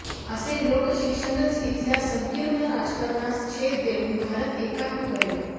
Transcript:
असे लोकशिक्षणच इथल्या संकिर्ण राजकारणास छेद देऊन भारत एकात्म करेल